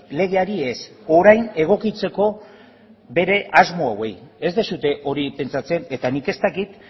legeari ez orain egokitzeko bere asmo hauei ez duzue hori pentsatzen eta nik ez dakit